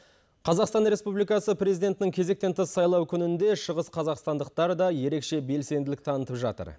қазақстан республикасы президентінің кезектен тыс сайлау күнінде шығыс қазақстандықтар да ерекше белсенділік танытып жатыр